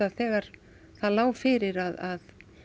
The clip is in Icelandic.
þegar það lá fyrir að